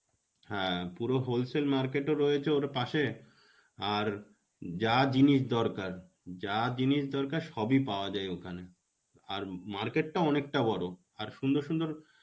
হ্যাঁ, পুরো whole sale market ও রয়েছে ওর পাশে, আর যা জিনিস দরকার যা জিনিস দরকার সবই পাওয়া যায় ওখানে. আর market টা অনেকটা বড়. আর সুন্দর সুন্দর